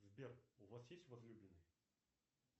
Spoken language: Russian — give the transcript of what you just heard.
сбер у вас есть возлюбленный